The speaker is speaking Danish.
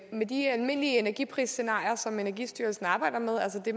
med de almindelige energiprisscenarier som energistyrelsen arbejder med altså det